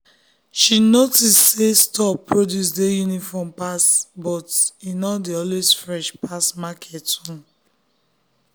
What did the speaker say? she notice say store produce dey uniform pass but e no dey always fresh pass market own. um